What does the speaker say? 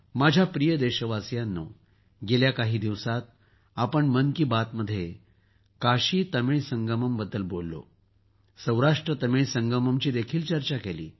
माझ्या प्रिय देशवासियांनो गेल्या काही दिवसांत आपण मन की बात मध्ये काशीतमिळ संगम बद्दल बोललो सौराष्ट्रतमिळ संगमची देखील चर्चा केली